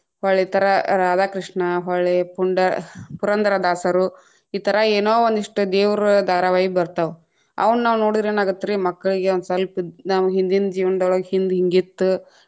ಹೊಳ್ಳಿತರಾ ರಾಧಾಕೃಷ್ಣಾ ಹೊಳ್ಳಿ ಪುಂಡ~ ಪುರಂದರದಾಸರು ಈಥರಾ ಏನೋ ಒಂದಿಷ್ಟ ದೇವ್ರ ಧಾರಾವಾಹಿ ಬತಾ೯ವ, ಅವುನ್ನಾವ ನೋಡಿದ್ರ ಏನಾಗತ್ರಿ ಮಕ್ಕಳಿಗೆ ಒಂದ ಸಲ್ಪ ನಾವ್‌ ಹಿಂದಿನ ಜೀವನದೊಳಗ ಹಿಂದ್‌ ಹಿಂಗಿತ್ತ್‌.